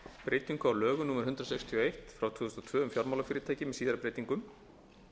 breytingu á lögum númer hundrað sextíu og eitt tvö þúsund og tvö um fjármálafyrirtæki með síðari breytingum